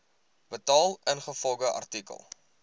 betaal ingevolge artikel